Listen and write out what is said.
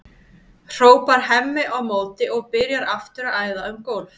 hrópar Hemmi á móti og byrjar aftur að æða um gólf.